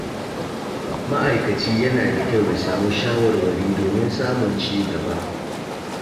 Ma'aikaci yana da kyau ya samu shawarwari domin samun ci gaba.